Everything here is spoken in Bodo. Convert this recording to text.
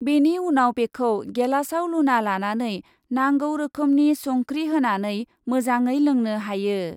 बेनि उनाव बेखौ गेलासआव लुना लानानै नांगौ रोखोमनि संख्रि होनानै मोजाङै लोंनो हायो ।